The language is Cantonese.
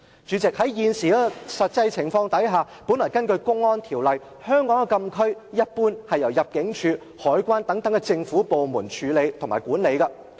主席，在現時的實際情況下，根據《公安條例》，香港的禁區一般是由香港入境事務處、香港海關等政府部門管理。